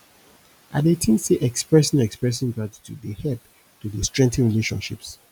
i dey think say expressing expressing gratitude dey help to dey strengthen relationships